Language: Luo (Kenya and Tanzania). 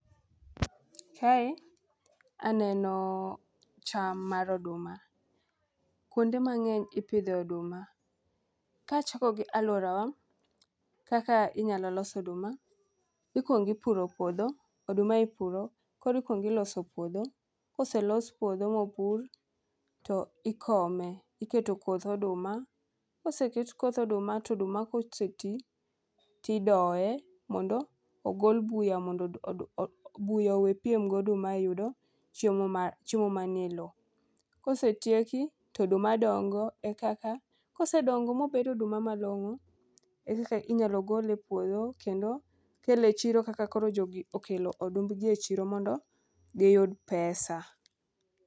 Kae aneno cham mar oduma ,kwonde mang'eny ipidhe oduma, kachako gi alworawa kaka inyalo los oduma, ikuongo ipuro puodho, oduma ipuro, koro ikwongo iloso puodho, koselos puodho mopur, to ikome, iketo koth oduma ,koseket koth oduma to oduma koseti, tidoye mondo ogol buya mondo buya owepiem goduma e yudo chiemo manie lowo. Kosetieki, to oduma dongo,e kaka ,kosedongo mobedo oduma malong'o, inyalo gole e puodho, kendo kelo e chiro kaka koro jogi okelo odumbgi e chiro mondo giyud pesa.